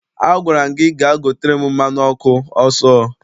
Agwara m gị gaa gotere m mmanụ ọkụ ọsọ!